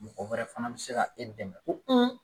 Mɔgɔ wɛrɛ fana be se ka e dɛmɛ ko